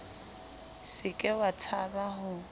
se ke wa tshaba ho